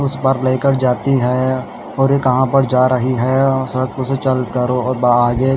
उस पर जाती है और ये कहा पर जा रही है और सड़क पे से चल कर बाहर ही --